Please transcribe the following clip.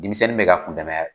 Denmisɛnnin be ka kun dama ya